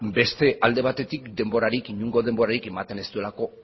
beste alde batetik denborarik inongo denborarik ematen ez duelako